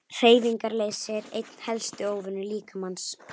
Hreyfingarleysi er einn helsti óvinur líkamans.